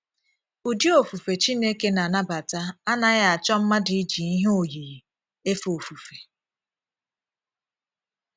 Ụdị òfùfè Chineke na - anabata anaghị achọ̀ mmadụ iji ihe oyiyi éfè òfùfè.